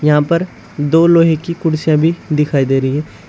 यहाँ पर दो लोहे की कुर्सियां भी दिखाई दे रही है।